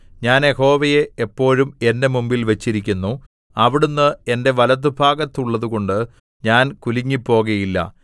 ഞാൻ യഹോവയെ എപ്പോഴും എന്റെ മുമ്പിൽ വച്ചിരിക്കുന്നു അവിടുന്ന് എന്റെ വലത്തുഭാഗത്തുള്ളതുകൊണ്ട് ഞാൻ കുലുങ്ങിപ്പോകുകയില്ല